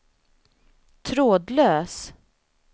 trådlös